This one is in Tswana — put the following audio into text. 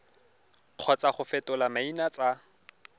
kgotsa go fetola maina tsa